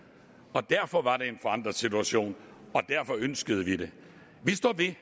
og derfor var det en forandret situation og derfor ønskede vi det vi står ved